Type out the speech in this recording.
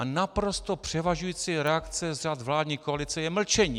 A naprosto převažující reakce z řad vládní koalice je mlčení.